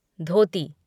धोती